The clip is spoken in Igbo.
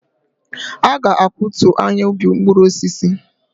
A ga-akwatu ahịa ubi mkpụrụ osisi.